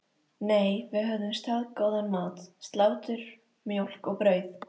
Nei, við höfðum staðgóðan mat: Slátur, mjólk og brauð.